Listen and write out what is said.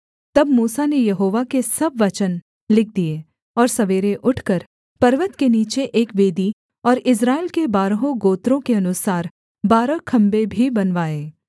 तब मूसा ने यहोवा के सब वचन लिख दिए और सवेरे उठकर पर्वत के नीचे एक वेदी और इस्राएल के बारहों गोत्रों के अनुसार बारह खम्भे भी बनवाए